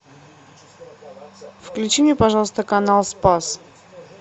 включи мне пожалуйста канал спас